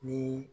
Ni